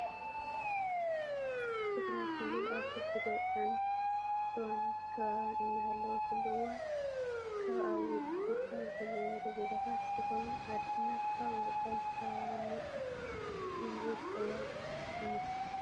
ትግራይ ክልል ኣብ ከቢድ ወፅዓን ዕፅዋን ከባባን እናሃለወትሉ እዋን ካብ ኣብ ውጪ ካብ ዝነብሩ ዜጋታታ ዝኮኑ ዓድና ካብ ወፅዓን ከበባን ነፃ ትኩን ዝብል ቅዋም እዩ።